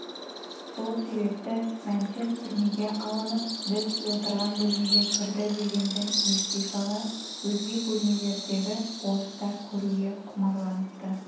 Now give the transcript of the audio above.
сол себепті мәнтен түрмеге алынып біз отырған бөлмеге кірді дегенді ести сала өзге бөлмелердегі орыстар көруге құмарланыпты